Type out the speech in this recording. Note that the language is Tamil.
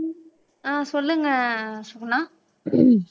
ஆஹ் சொல்லுங்க சுகுணா